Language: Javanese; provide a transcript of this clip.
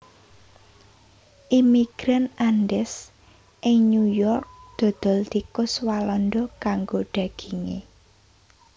Imigran Andes ing New York dodol tikus walanda kanggo daginge